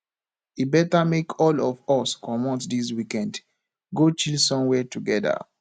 e beta make all of us comot dis weekend go chill somewhere togeda